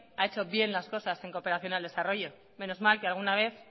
ha hecho bien las cosas en cooperación al desarrollo menos mal que alguna vez